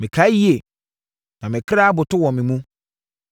Mekae yie, na me kra aboto wɔ me mu.